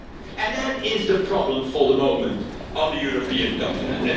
And that is the problem for the moment on the European continent.